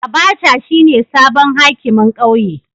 Abacha shine sabon hakimin kauye.